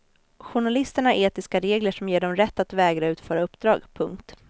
Journalisterna har etiska regler som ger dem rätt att vägra utföra uppdrag. punkt